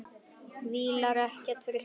Vílar ekkert fyrir sér.